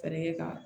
Tariɲa kan